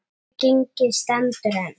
Þetta gengi stendur enn.